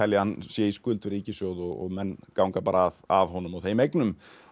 hann sé í skuld við ríkissjóð og menn ganga bara að að honum og þeim eignum